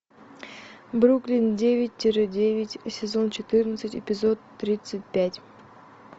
бруклин девять тире девять сезон четырнадцать эпизод тридцать пять